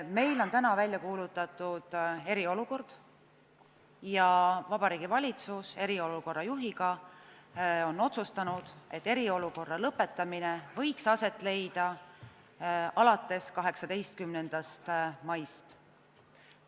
Meil on täna välja kuulutatud eriolukord ja Vabariigi Valitsus koos eriolukorra juhiga on otsustanud, et eriolukorra lõpetamine võiks aset leida alates 18. maist.